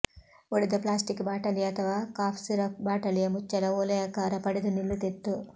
ಒಡೆದ ಪ್ಲಾಸ್ಟಿಕ್ ಬಾಟಲಿಯ ಅಥವಾ ಕಾಫ್ ಸಿರಪ್ ಬಾಟಲಿಯ ಮುಚ್ಚಳ ಒಲೆಯಾಕಾರ ಪಡೆದು ನಿಲ್ಲುತ್ತಿತ್ತು